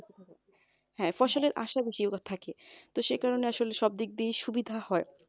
হ্যাঁ ফসলের আসা বেশিরভাগ থাকে সেই কারনে আসলে সব দিক দিয়েই সুবিধা হয়।